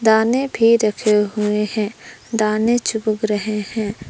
दाने भी रखे हुए हैं दाने चुग रहे हैं।